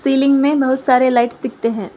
Ceiling में बहुत सारे लाइट्स दिखते हैं।